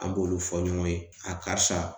An b'olu fɔ ɲɔgɔn ye, karisa